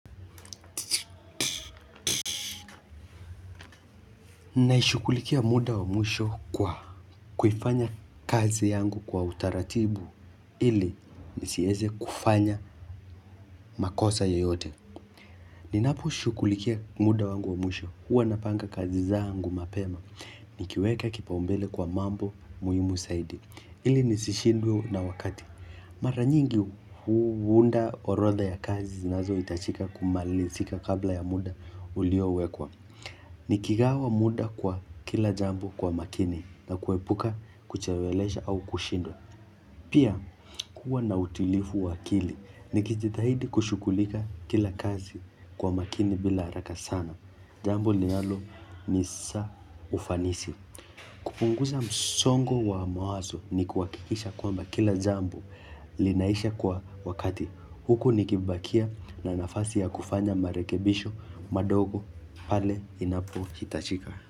Naishukulikia muda wa mwisho kwa kufanya kazi yangu kwa utaratibu ili nisieze kufanya makosa yeyote. Ninaposhukulikia muda wa mwisho huwa napanga kazi zaangu mapema. Nikiweka kipaumbele kwa mambo muhimu zaidi. Ili nisishindwe na wakati. Mara nyingi huunda orodha ya kazi zinazoitachika kumalisika kabla ya muda uliowekwa. Nikigawa muda kwa kila jambo kwa makini na kuepuka kuchewelesha au kushindwa. Pia kuwa na utilifu wakili. Nikijithahidi kushukulika kila kazi kwa makini bila araka sana. Jambo linalo ni sa ufanisi. Kupunguza msongo wa mawazo ni kuhakikisha kwamba kila jambo linaisha kwa wakati huko nikibakia na nafasi ya kufanya marekebisho madogo pale inapohitachika.